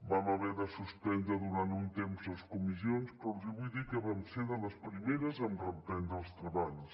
vam haver de suspendre durant un temps les comissions però els vull dir que vam ser de les primeres en reprendre els treballs